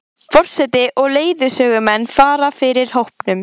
Forseti og leiðsögumenn fara fyrir hópnum.